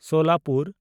Solapur